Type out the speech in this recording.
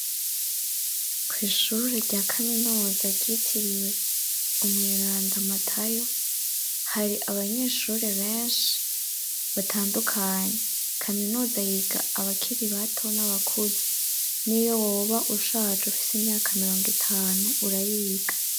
Kw'ishure rya kaminuza ryitiriwe Umweranda Matayo, hari abanyeshuri benshi batandukanye, kaminuza yiga abakiri bato n'abakuze, n'iyo woba ushaje, ufise imyaka mirongo itanu, urayiga.